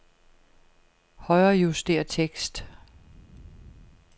Højrejuster tekst.